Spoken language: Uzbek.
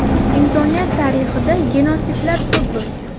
Insoniyat tarixida genotsidlar ko‘p bo‘lgan.